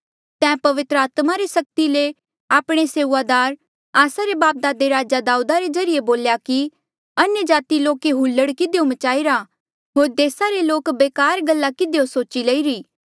तैं पवित्र आत्मा रे सक्ति ले आपणे सेऊआदार आस्सा रे बापदादे राजा दाऊदा रे ज्रीए बोल्या कि अन्यजाति लोके हुल्लड़ किधियो मचाई रा होर देसा रे लोके बेकार गल्ला किधियो सोची लईरी